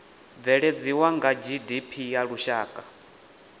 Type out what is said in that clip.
bveledzisa na gdp ya lushaka